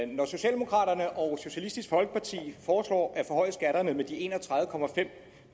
når socialdemokraterne og socialistisk folkeparti foreslår at med en og tredive